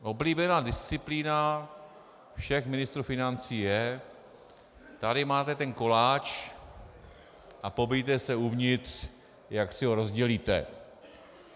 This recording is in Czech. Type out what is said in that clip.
Oblíbená disciplína všech ministrů financí je: tady máte ten koláč a pobijte se uvnitř, jak si ho rozdělíte.